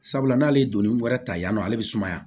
Sabula n'ale ye donnin wɛrɛ ta yan nɔ ale bɛ sumaya